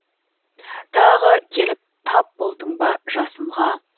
тағы келіп тап болдың ба жасынға